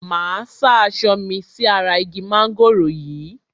Máa sá aṣọ mi sí ara igi mángòrò yìí.